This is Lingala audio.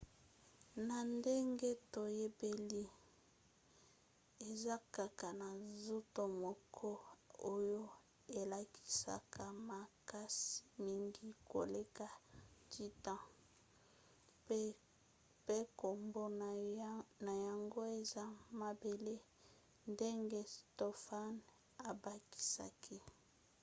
na ndenge toyebeli eza kaka na nzoto moko oyo elakisaka makasi mingi koleka titan pe nkombo na yango eza mabele, ndenge stofan abakisaki